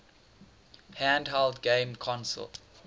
handheld game console